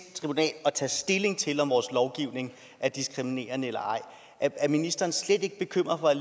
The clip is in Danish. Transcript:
tribunal at tage stilling til om vores lovgivning er diskriminerende eller ej er ministeren slet ikke bekymret for at